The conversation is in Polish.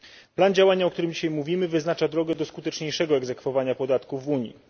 Plan działania, o którym dzisiaj mówimy, wyznacza drogę do skuteczniejszego egzekwowania podatków w Unii.